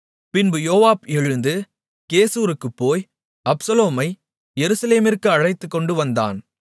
பின்பு யோவாப் எழுந்து கெசூருக்குப் போய் அப்சலோமை எருசலேமிற்கு அழைத்துக்கொண்டு வந்தான்